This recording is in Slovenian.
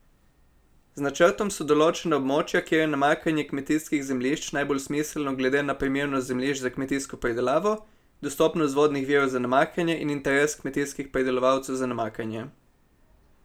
Z načrtom so določena območja, kjer je namakanje kmetijskih zemljišč najbolj smiselno glede na primernost zemljišč za kmetijsko pridelavo, dostopnost vodnih virov za namakanje in interes kmetijskih pridelovalcev za namakanje.